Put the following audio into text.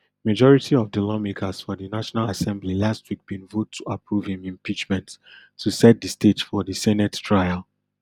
majority of di lawmakers for di national assembly last week bin vote to approve im impeachment to set di stage for di senate trial